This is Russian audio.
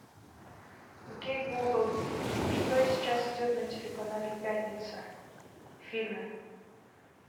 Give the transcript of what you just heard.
окей гугл что сейчас идет на телеканале пятница фильмы